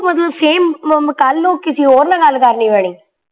ਮਤਲਬ same ਅਮ ਅਮ ਕੱਲ ਨੂੰ ਕਿਸੇ ਹੋਰ ਨਾਲ ਗੱਲ ਕਰਨੀ ਪੈਣੀ